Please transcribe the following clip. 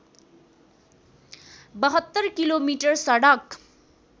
७२ kilometre सडक